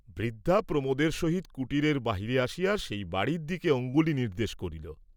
বৃদ্ধা প্রমোদের সহিত কুটিরের বাহিরে আসিয়া সেই বাড়ীর দিকে অঙ্গুলি নির্দ্দেশ করিল।